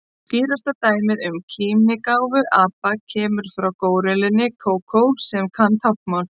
Skýrasta dæmið um kímnigáfu apa kemur frá górillunni Kókó sem kann táknmál.